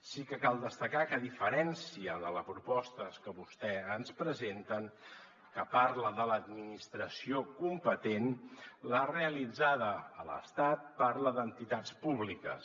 sí que cal destacar que a diferència de la proposta que vostès ens presenten que parla de l’administració competent la realitzada a l’estat parla d’entitats públiques